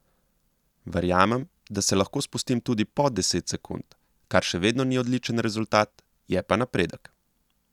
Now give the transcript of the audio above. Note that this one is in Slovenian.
Verjamem, da se lahko spustim tudi pod deset sekund, kar še vedno ni odličen rezultat, je pa napredek.